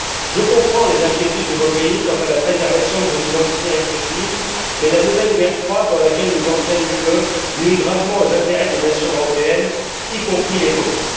Je comprends les inquiétudes de vos pays quant à la préservation de vos identités respectives, mais la nouvelle guerre froide dans laquelle nous entraîne l'Union européenne nuit gravement aux intérêts des nations européennes, y compris les vôtres.